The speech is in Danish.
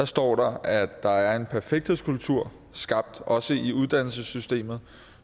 står der at der er en perfekthedskultur skabt også i uddannelsessystemet